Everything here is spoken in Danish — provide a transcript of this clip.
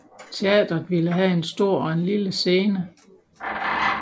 Teatret ville have en stor og en lille scene